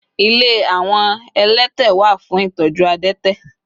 ile awon elete wa fun itoju adete